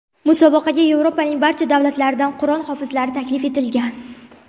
Musobaqaga Yevropaning barcha davlatlaridan Qur’on hofizlari taklif etilgan.